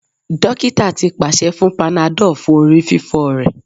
Dokita ti paṣẹ fun panadol fun orififo rẹ